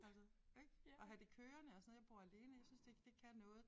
Altså ik at have det kørende og sådan noget jeg bor alene jeg synes det det kan noget